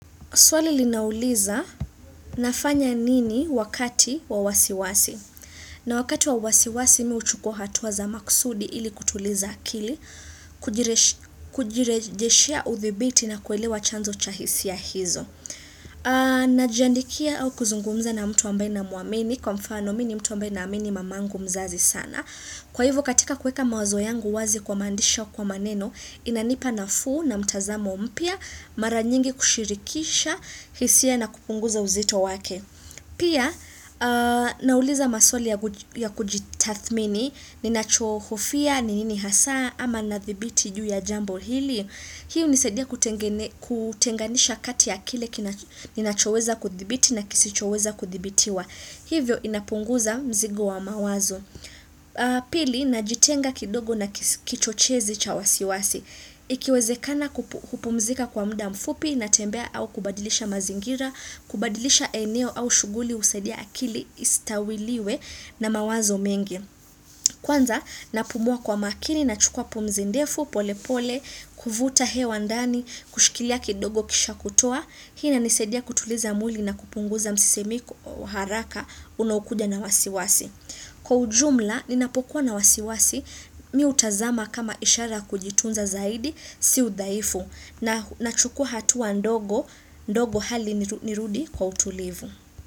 Swali linauliza nafanya nini wakati wa wasiwasi? Na wakati wa wasiwasi mimi huchukua hatua za makusudi ili kutuliza akili, kujirejeshea udhibiti na kuelewa chanzo cha hisia hizo. Najiandikia au kuzungumza na mtu ambaye namuamini kwa mfano mimi ni mtu ambaye naamini mama yangu mzazi sana. Kwahivo katika kuweka mawazo yangu wazi kwa maandishi au kwa maneno inanipa nafuu na mtazamo mpya mara nyingi kushirikisha. Hisia na kupunguza uzito wake. Pia, nauliza maswali ya kujitathmini. Ninachohofia, ni nini hasa, ama nadhibiti juu ya jambo hili Hii hunisadia kutenganisha kati ya kile ninachoweza kudhibiti na kisichoweza kudhibitiwa. Hivyo inapunguza mzigo wa mawazo Pili, najitenga kidogo na kichochezi cha wasiwasi. Ikiwezekana kupumzika kwa mda mfupi natembea au kubadilisha mazingira, kubadilisha eneo au shughuli husadia akili isitawaliwe na mawazo mengi. Kwanza napumua kwamakini, nachukua pumzi ndefu pole pole, kuvuta hewa ndani, kushikilia kidogo kisha kutoa, hii inanisadia kutuliza mwili na kupunguza msisimko haraka unaokuja na wasiwasi. Kwa ujumla, ninapokuwa na wasiwasi, mimi hutazama kama ishara ya kujitunza zaidi, si udhaifu na nachukua hatua ndogondogo hadi nirudi kwa utulivu.